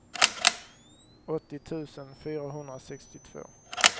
åttio tusen fyrahundrasextiotvå